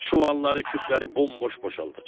Çuvalları, küpləri bomboş boşaldacam.